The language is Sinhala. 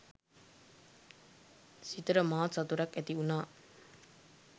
සිතට මහත් සතුටක් ඇති වුනා.